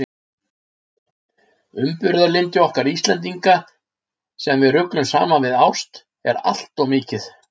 Umburðarlyndi okkar Íslendinga, sem við ruglum saman við ást, er allt of mikið.